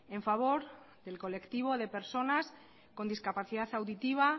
en favor del colectivo de personas con discapacidad auditiva